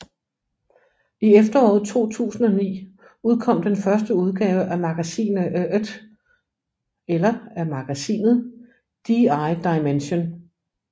I efteråret 2009 udkom den første udgave af magasineet DI Dimension